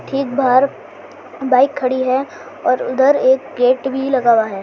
ठीक बाहर बाइक खड़ी है और उधर एक गेट भी लगा हुआ है।